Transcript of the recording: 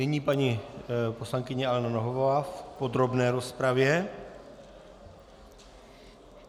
Nyní paní poslankyně Alena Nohavová v podrobné rozpravě.